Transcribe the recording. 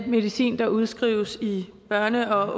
medicin der udskrives i børne og